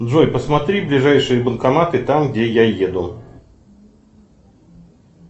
джой посмотри ближайшие банкоматы там где я еду